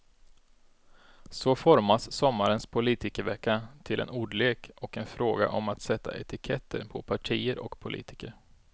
Så formas sommarens politikervecka till en ordlek och en fråga om att sätta etiketter på partier och politiker.